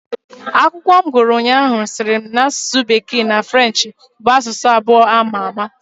Akwụkwọ m gụrụ ụnyaahụ sịrị na asụsụ bekee na Frenchị bu asụsụ abụọ ama àmà.